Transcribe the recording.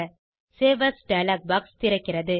save as dialog box திறக்கிறது